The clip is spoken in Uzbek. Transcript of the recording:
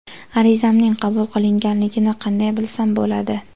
arizamning qabul qilinganligini qanday bilsam bo‘ladi?.